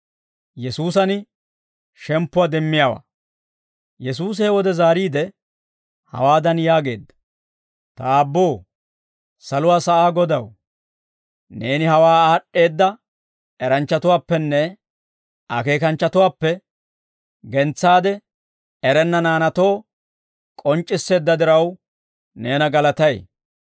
Yesuusi he wode zaariide, hawaadan yaageedda; «Ta Aabboo, saluwaa sa'aa Godaw, neeni hawaa aad'd'eedda eranchchatuwaappenne akeekanchchatuwaappe gentsaade, erenna naanaatoo k'onc'c'isseedda diraw, neena galatay;